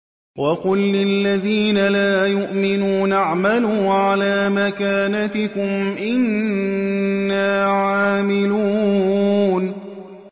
وَقُل لِّلَّذِينَ لَا يُؤْمِنُونَ اعْمَلُوا عَلَىٰ مَكَانَتِكُمْ إِنَّا عَامِلُونَ